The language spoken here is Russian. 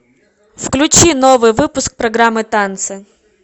включи новый выпуск программы танцы